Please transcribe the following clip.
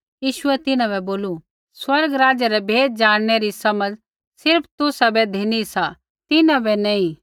यीशुऐ तिन्हां बै बोलू स्वर्ग राज्य रै भेद ज़ाणनै रा समझ सिर्फ़ तुसाबै धिनी सा तिन्हां बै नी